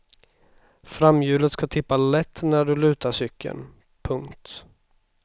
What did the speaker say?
Framhjulet ska tippa lätt när du lutar cykeln. punkt